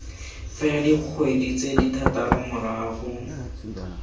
fela dikgwedi tse thataro morago